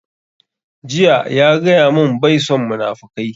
Jiya ya gaya mun bai son munafukai